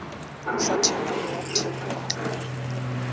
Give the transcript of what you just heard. sa thebolo ya thekontle ya